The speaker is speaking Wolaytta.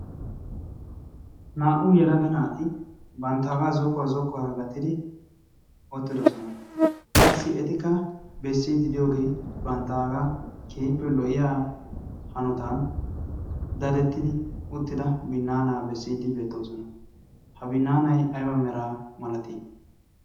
naa''u yalaga naati banttaagaa zokkuwaa zokkuwaara gatidi ottidosona qassi etikka bessiididiyoogee banttaagaa keyippe lo''iya hanotan darettidi uttida binnaanaa bessiidi beettoosona ha binnaanay ayba meraa malatii